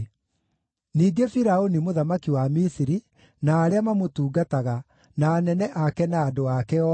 ningĩ Firaũni mũthamaki wa Misiri, na arĩa mamũtungataga, na anene ake na andũ ake othe,